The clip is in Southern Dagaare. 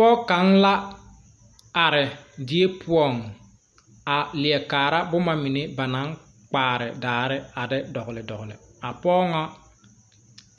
Pɔg kaŋ la are die poɔŋ a leɛ kaara boma mine ba naŋ kpaare daare a de dɔgle dɔgle a pɔg ŋa